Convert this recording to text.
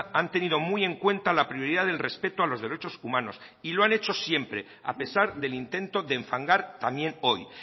han tenido muy en cuenta la prioridad del respeto a los derechos humanos y lo han hecho siempre a pesar del intento de enfangar también hoy